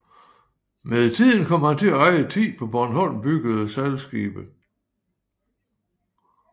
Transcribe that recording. Med tiden kom han til at eje 10 på Bornholm byggede sejlskibe